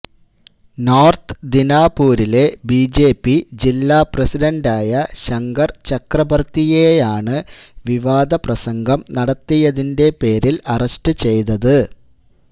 north ദിനാപൂരിലെ BJP ജില്ലാ പ്രസിഡന്റായ ശങ്കര് ചക്രബര്ത്തിയെയാണ് വിവാദ പ്രസംഗം നടത്തിയതിന്റെ പേരിൽ അറസ്റ്റ് ചെയ്തത്